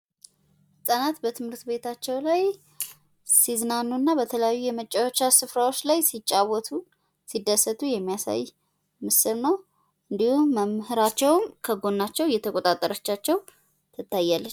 ህፃናት በትምህርት ቤታቸው ላይ ሲዝናኑና በተለያዩ የመጫወቻ ስፍራዎች ላይ ሲጫወቱ ሲደሰቱ የሚያሳይ ምስል እንዲሁም መምህራችው ከጎናቸው የተቆጣጠረቻቸው ትታያለች።